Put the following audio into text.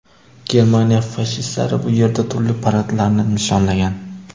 Germaniya fashistlari bu yerda turli paradlarni nishonlagan.